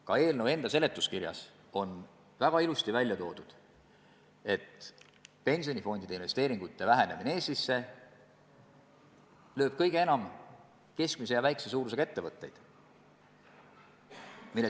Ka eelnõu seletuskirjas on väga ilusti välja toodud, et pensionifondide Eestisse tehtavate investeeringute vähenemine lööb kõige enam keskmise ja väikese suurusega ettevõtteid.